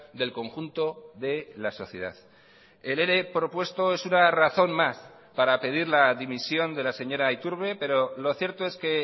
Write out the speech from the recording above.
del conjunto de la sociedad el ere propuesto es una razón más para pedir la dimisión de la señora iturbe pero lo cierto es que